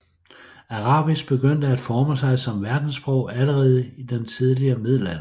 Arabisk begyndte at forme sig som verdenssprog allerede i den tidlige middelalder